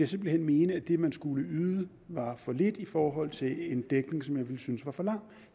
simpelt hen mene at det man skulle yde var for lidt i forhold til en dækning som jeg ville synes var for lang